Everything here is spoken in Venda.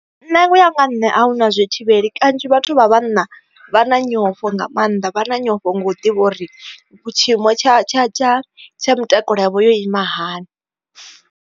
Nṋe uya nga nne ahuna zwi thivheli kanzhi vhathu vha vhanna vha na nyofho nga maanḓa vha na nyofho nga u ḓivha uri tshiimo tsha tsha tsha tsha mutakalo yavho yo ima hani.